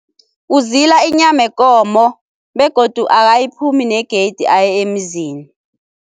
Uzila inyama yekomo begodu akayiphumi ne-gate aye emzini.